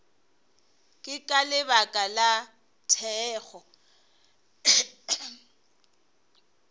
ke ka lebaka la thekgo